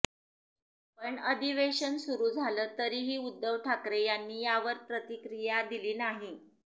पण अधिवेशन सुरू झालं तरीही उद्धव ठाकरे यांनी यावर प्रतिक्रिया दिली नाही